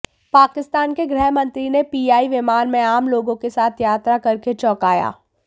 पाकिस्तान के गृह मंत्री ने पीआईए विमान में आम लोगों के साथ यात्रा करके चौंकाया